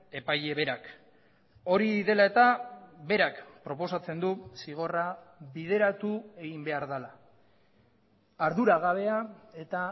epaile berak hori dela eta berak proposatzen du zigorra bideratu egin behar dela arduragabea eta